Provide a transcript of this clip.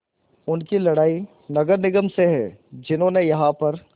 उनकी लड़ाई नगर निगम से है जिन्होंने यहाँ पर